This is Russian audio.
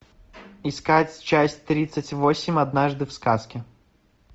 искать часть тридцать восемь однажды в сказке